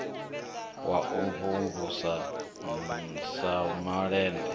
wa u mvumvusa sa malende